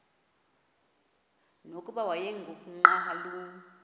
nokuba wayengu nqal